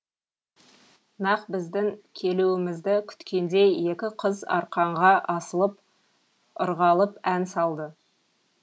нақ біздің келуімізді күткендей екі қыз арқанға асылып ырғалып ән салды